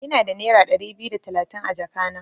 Ina da nera Dari biyu da talatin a jaka na.